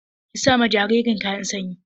Ki sa ma jaririn kayan sanyi!